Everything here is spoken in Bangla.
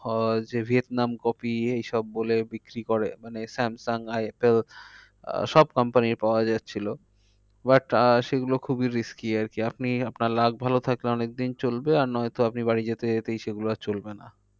But আহ সেগুলো খুবই risky আর কি আপনি আপনার luck ভালো থাকলে অনেক দিন চলবে। আর নয় তো আপনি বাড়ি যেতে যেতেই সেগুলো আর চলবে না।